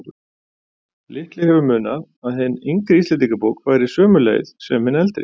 Litlu hefur munað að hin yngri Íslendingabók færi sömu leið sem hin eldri.